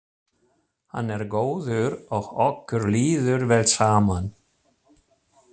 Hann er góður og okkur líður vel saman.